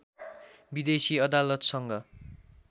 विदेशी अदालतसँग